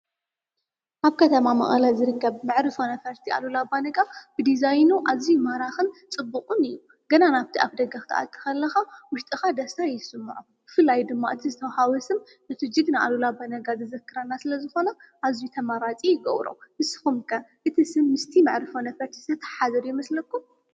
አብ ከተማ መቐለ ዝርከብ መዕርፎ ነፈርቲ አሉላ አባነጋ ዲዛይኑ አዝዩ ማራክን ፅቡቅን እዩ። ገና ናብቲ አፍ ደገ ክትአቱ ከለካ ውሽጥካ ደሰታ ይስመዖ። ብፍላይ ድማ እቲ ዝተውሃቦ ስም ነቲ ጅግና አሉላ አባነጋ ዘዘክረና ስለ ዝኾነ አዝዩ ተመራፂ ይገብሮ። ንስኩም ከ እቲ ስም ምስቲ መዕርፎ ነፈርቲ ዝትሓሓዘ ዶ ይመስለኩም?